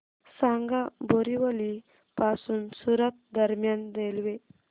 सांगा बोरिवली पासून सूरत दरम्यान रेल्वे